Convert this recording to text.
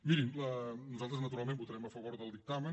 mirin nosaltres naturalment votarem a favor del dictamen